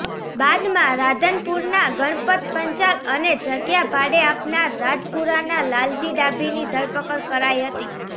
બાદમાં રાધનપુરનાં ગણપત પંચાલ અને જગ્યા ભાડે આપનાર રાજપુરનાં લાલાજી ડાભીની ધરપકડ કરાઈ હતી